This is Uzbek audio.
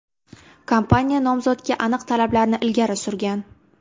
Kompaniya nomzodga aniq talablarni ilgari surgan.